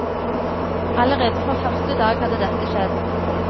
Allerede fra første dag hadde dette skjedd.